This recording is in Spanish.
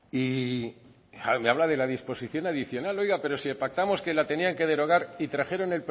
y me habla de la disposición adicional oiga pero si pactamos que la tenían que derogar y trajeron